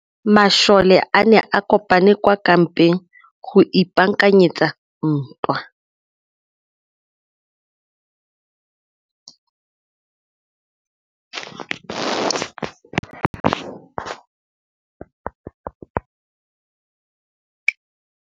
Masole a ne a kopane kwa kampeng go ipaakanyetsa ntwa.